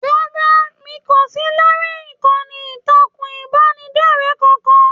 Rárá, mi kò sí lórí ìkànnì ìtàkùn ìbánidọ̀rẹ̀ kankan.